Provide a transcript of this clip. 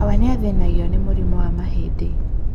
Awa nĩathĩnagio nĩ mũrimũ wa mahĩndĩ.